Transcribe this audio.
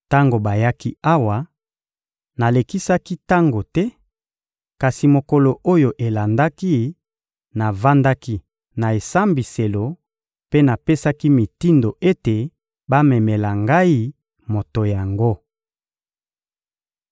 Tango bayaki awa, nalekisaki tango te; kasi mokolo oyo elandaki, navandaki na esambiselo mpe napesaki mitindo ete bamemela ngai moto yango.